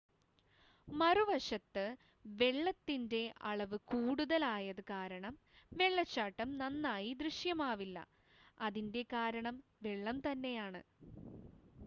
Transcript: മറുവശത്ത് വെള്ളത്തിൻറ്റെ അളവ് കൂടുതൽ ആയത് കാരണം വെള്ളച്ചാട്ടം നന്നായി ദൃശ്യമാവില്ല - അതിൻറ്റെ കാരണം വെള്ളം തന്നെയാണ്